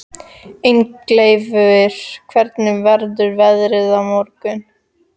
Ingileifur, hvernig verður veðrið á morgun?